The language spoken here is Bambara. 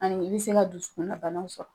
Ani i be se ka dusukun na banaw sɔrɔ.